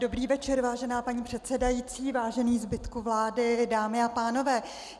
Dobrý večer, vážená paní předsedající, vážený zbytku vlády, dámy a pánové.